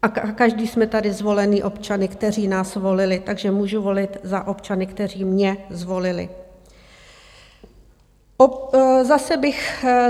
A každý jsme tady zvoleni občany, kteří nás volili, takže můžu volit za občany, kteří mě zvolili.